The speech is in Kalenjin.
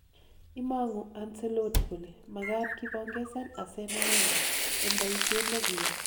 Imang'u Anncelotti kole makat kipongesan Arsene Wenger eng' poishet nekiyai